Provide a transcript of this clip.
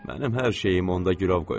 Mənim hər şeyim onda gülov qoyulub.